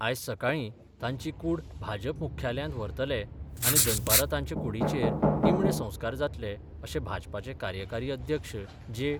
आयज सकाळी तांची कूड भाजप मुख्यालयात व्हरतले आनी दनपारा तांचे कुडीचेर निमणे संस्कार जातले अशे भाजपाचे कार्यकारी अध्यक्ष जे.